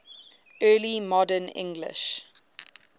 early modern english